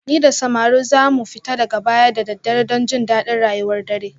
Ni da samarin za mu fita daga baya da daddare don jin daɗin rayuwar dare